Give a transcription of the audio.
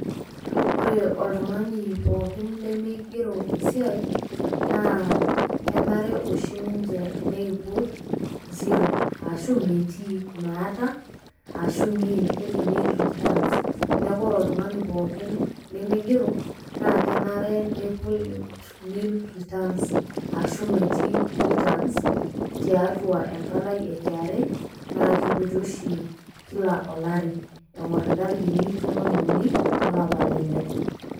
ore oltungani pookin lemeingero esiai naa kenare oshi ninje neiput zero arashu metii, maata arashu nill keji nill returns neaku ore olntungani pookin lemigero naa kenare neiput returns arashu metii returns tiatua empalai e KRA na keiputi oshi kila olari engor intarikini tomon uni olapa le ile.